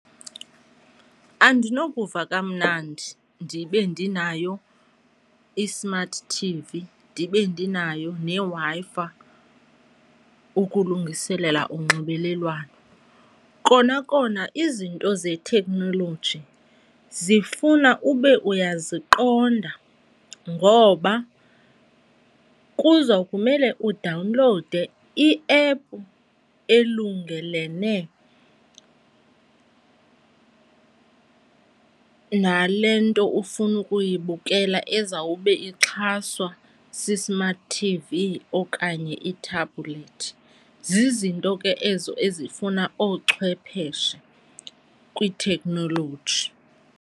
Andinokuva kamnandi ndibe ndinayo i-smart T_V ndibe ndinayo neWi-Fi ukulungiselela unxibelelwano. Kona kona izinto zethekhnoloji zifuna ube uyaziqonda ngoba kuza kumele udawunlowude i-app elungelene nale nto ufuna ukuyibukela ezawube ixhaswa si-smart T_V okanye i-tablet. Zizinto ke ezo ezifuna oochwepheshe kwithekhnoloji.